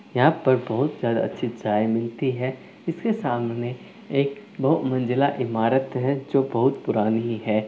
यहाँ पर बहुत सा चित्रायसूती हैं इसके सामने एक दो मंजिला ईमारत हैं जो बहुत पुराणी हैं।